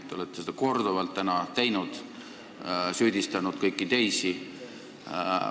Te olete seda täna korduvalt teinud, st kõiki teisi süüdistanud.